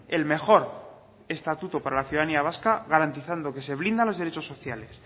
el mejor estatuto para la ciudadanía vasca garantizando que se blindan los derechos sociales